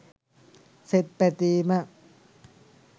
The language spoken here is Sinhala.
සෙත් පැතීම